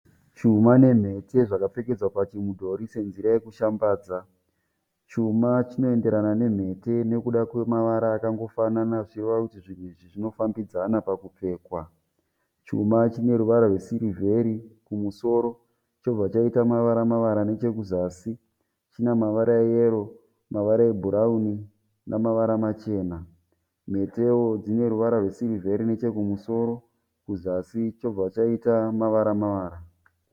Chuma nemhete zvakapfekedzwa pachimudhori senzira yekushambadza, chuma chinoenderana nemhete nekuda kwemavara akangofanana zvichireva kuti zvinhu izvi zvinofambidzana pakupfekwa, chuma chine ruvara rwesirivheri kumusoro chobva chaita mavara mavara nechekuzasi china mavara eyero mavara ebhurawuni namavara machena mhetewo dzine ruvara rwesirivheri neche kumusoro kuzasi chobva chaita mavara mavara.